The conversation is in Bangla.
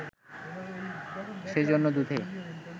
সে জন্য দুধে